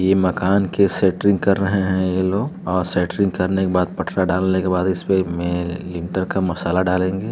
ये माकन के सेटरिंग कर रहे हैं। ये लोग और सेटरिंग करने के बाद पटरा डालने के बाद इस्पे में लिंटर का मसाला डालेंगे |